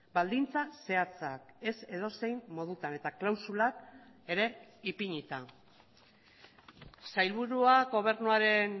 baldintza zehatzak ez edozein modutan eta klausulak ere ipinita sailburuak gobernuaren